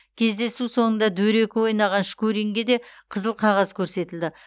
кездесу соңында дөрекі ойнаған шкуринге де қызыл қағаз көрсетілді